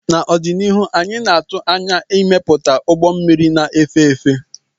n'ọdịnihu anyị na-atụ anya ịmepụta ụgbọ mmiri na-efe efe